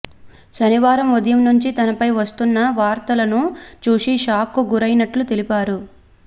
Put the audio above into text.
శనివారం ఉదయం నుంచి తనపై వస్తున్న వార్తలను చూసి షాక్ కు గురైనట్లు తెలిపారు